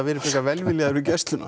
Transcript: frekar velviljaðir við gæsluna